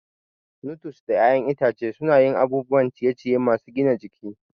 Nuts da 'ya'yan itace suna yin abubuwan ciye-ciye masu gina jiki.